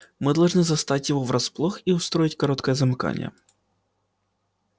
мы должны застать его врасплох и устроить короткое замыкание